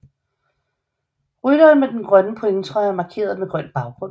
Rytteren med den grønne pointtrøje er markeret med grøn baggrund